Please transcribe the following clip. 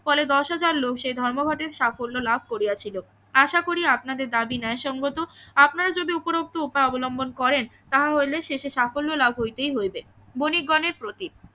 ফলে দশ হাজার লোক সে ধর্মঘটে সাফল্য লাভ করিয়াছিল আশা করি আপনাদের দাবি ন্যায় সঙ্গত আপনারা যদি উপরোক্ত উপায় অবলম্বন করেন তাহা হইলে শেষে সাফল্য লাভ হইবেই হইবে বণিক গণের প্রতি